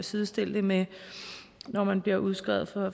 sidestille det med når man bliver udskrevet